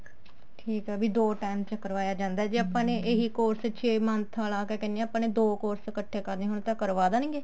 ਠੀਕ ਆ ਵੀ ਦੋ time ਚ ਕਰਵਾਇਆ ਜਾਂਦਾ ਜੇ ਆਪਾਂ ਨੇ ਇਹੀ course ਛੇ month ਕਿਆ ਕਹਿਨੇ ਆਂ ਦੋ course ਇੱਕਠੇ ਕਰਨੇ ਹੋਣ ਤਾਂ ਕਰਵਾ ਦੇਣਗੇ